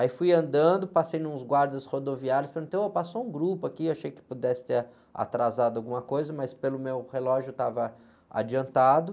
Aí fui andando, passei em uns guardas rodoviários, perguntei, ô, passou um grupo aqui? Achei que pudesse ter atrasado alguma coisa, mas pelo meu relógio estava adiantado.